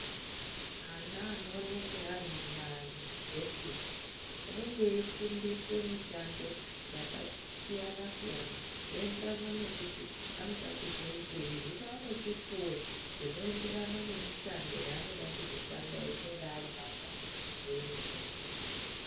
Ana anoonekwe arimumayunivhesiti anenga eifundiswa mishando yakasiyana siyana zvinoenderana nekuti vanoda kuzoitei hino vanochipiwe zvinoenderana nemishando yavanoda kuzoshanda kana vachinge vagwaza yunivhesiti .